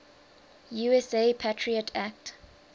usa patriot act